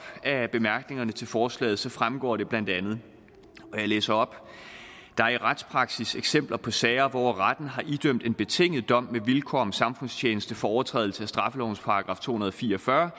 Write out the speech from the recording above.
af bemærkningerne til forslaget fremgår det blandt andet og jeg læser op der er i retspraksis eksempler på sager hvor retten har idømt en betinget dom med vilkår om samfundstjeneste for overtrædelse af straffelovens § to hundrede og fire og fyrre